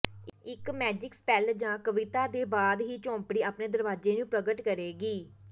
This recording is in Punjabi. ਇੱਕ ਮੈਜਿਕ ਸਪੈੱਲ ਜਾਂ ਕਵਿਤਾ ਦੇ ਬਾਅਦ ਹੀ ਝੋਂਪੜੀ ਆਪਣੇ ਦਰਵਾਜ਼ੇ ਨੂੰ ਪ੍ਰਗਟ ਕਰੇਗੀ